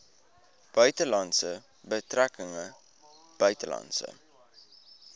buitelandse betrekkinge buitelandse